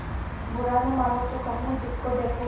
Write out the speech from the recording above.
बुरा न मानों तो कहूँ जिसको देखो